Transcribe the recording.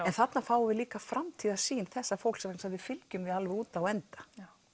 þarna fáum við líka framtíðarsýn þessa fólks vegna að við fylgjum því alveg út á enda